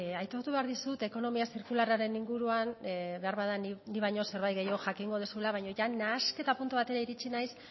aitortu behar dizut ekonomia zirkularraren inguruan beharbada nik baino zerbait gehiago jakingo duzula baina jada nahasketa puntu batera iritsi naiz